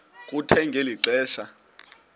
kuthe ngeli xesha